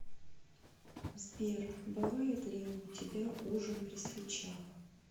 сбер бывает ли у тебя ужин при свечах